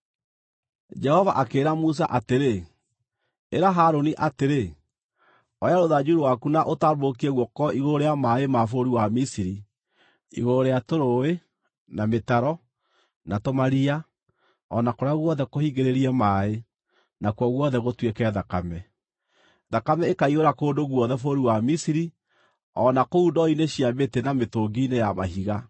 Jehova akĩĩra Musa atĩrĩ, “Ĩra Harũni atĩrĩ, ‘Oya rũthanju rwaku na ũtambũrũkie guoko igũrũ rĩa maaĩ ma bũrũri wa Misiri, na igũrũ rĩa tũrũũĩ, na mĩtaro, na tũmaria o na kũrĩa guothe kũhingĩrĩrie maaĩ nakuo guothe gũtuĩke thakame. Thakame ĩkaiyũra kũndũ guothe bũrũri wa Misiri, o na kũu ndoo-inĩ cia mĩtĩ na mĩtũngi-inĩ ya mahiga.’ ”